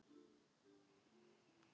Hún myndi deyja ef.